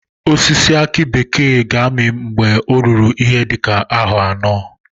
Osisi aki bekee ga-ami mgbe o ruru ihe dị ka aro anọ